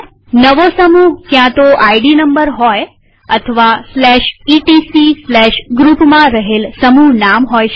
નવું ગ્રુપ ક્યાંતો ID number હોય અથવા etcgroupમાં રહેલ સમૂહનામ હોઈ શકે